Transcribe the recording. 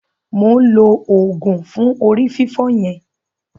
Mo ǹ lo òògùn fún orí fífọ́ yẹn.